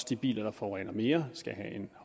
de biler der forurener mere skal have en